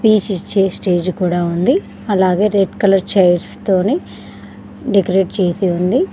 Stage కూడా ఉంది అలాగే రెడ్ కలర్ చైర్స్ తోని డెకరేట్ చేసి ఉంది.